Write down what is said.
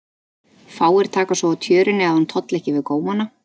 Fáir taka svo á tjörunni að hún tolli ekki við gómana.